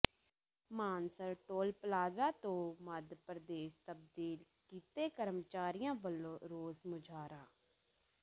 Mansar toll plaza ਤੋਂ ਮੱਧ ਪ੍ਰਦੇਸ਼ ਤਬਦੀਲ ਕੀਤੇ ਕਰਮਚਾਰੀਆਂ ਵਲੋਂ ਰੋਸ ਮੁਜ਼ਾਹਰਾ